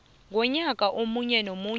konyaka omunye nomunye